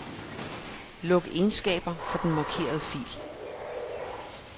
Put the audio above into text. Luk egenskaber for den markerede fil.